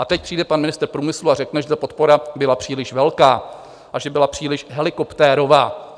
A teď přijde pan ministr průmyslu a řekne, že ta podpora byla příliš velká a že byla příliš helikoptérová.